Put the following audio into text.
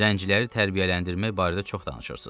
Zənciləri tərbiyələndirmək barədə çox danışırsız.